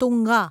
Tunga